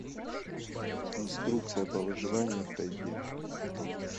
инструкция по выживанию в тайге